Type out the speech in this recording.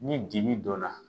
Ni dibi donna